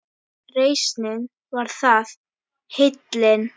Reisnin var það, heillin